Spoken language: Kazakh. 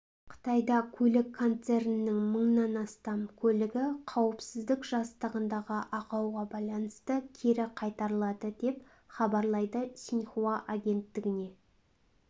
қытайда көлік концернінің мыңнан астам көлігі қауіпсіздік жастығындағы ақауға байланысты кері қайтарылады деп хабарлайды синьхуа агенттігіне